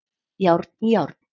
Járn í járn